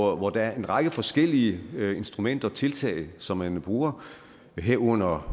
hvor der er en række forskellige instrumenter og tiltag som man bruger herunder